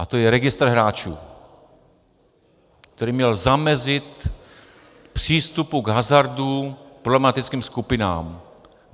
A to je registr hráčů, který měl zamezit přístupu k hazardu problematickým skupinám.